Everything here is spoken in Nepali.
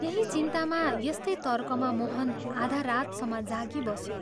यही चिन्तामा यस्तै तर्कमा मोहन आधा रातसम्म जागिबस्यो।